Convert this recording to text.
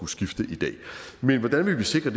skifte i dag men hvordan vil vi sikre